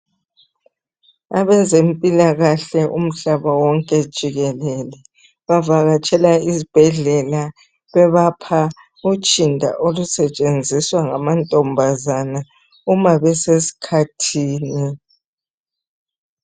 Abezempilakahle umhlaba wonke jikelele bavakatshela izibhedlela bebapha utshinda olusetshenziswa ngamantombazane uma besesikhathini.